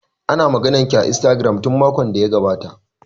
Ana ta maganar ki a Instagram tun makon da ya gabata